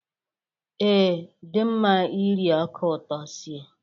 Ee, dị mma iri ọka ụtọ sie.